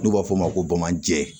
N'u b'a f'o ma ko bamananjɛ